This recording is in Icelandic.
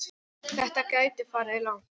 Þetta gæti farið langt.